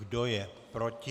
Kdo je proti?